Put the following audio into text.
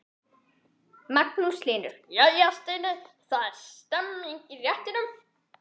Magnús Hlynur: Jæja Steini, það er stemning í réttunum?